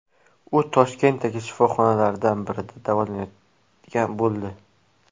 U Toshkentdagi shifoxonalardan birida davolanadigan bo‘ldi.